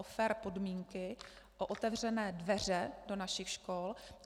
O fér podmínky, o otevřené dveře do našich škol.